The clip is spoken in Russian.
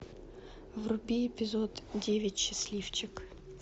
вруби эпизод девять счастливчик